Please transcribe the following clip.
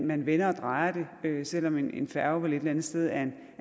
man vender og drejer det selv om en færge vel et eller andet sted er